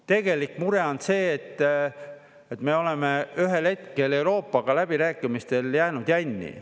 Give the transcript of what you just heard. Tegelik mure on see, et me oleme ühel hetkel Euroopaga läbirääkimistel jäänud jänni.